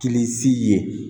Tinisi ye